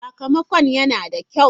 Sakamakon yana da kyau.